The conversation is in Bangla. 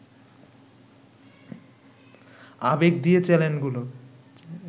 আবেগ দিয়ে চ্যানেলগুলো